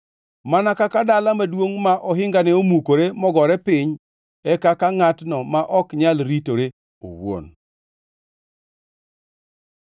Mana kaka dala maduongʼ ma ohingane omukore mogore piny e kaka ngʼatno ma ok nyal ritore owuon.